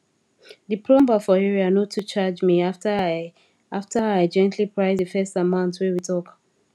the plumber for area no too charge me after i after i gently price the first amount wey e talk